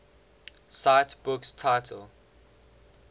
cite book title